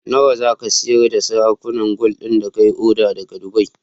Nawa zaka siyar da sarakunan gwal din da kayi order daka dubai?